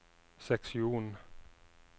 seksjon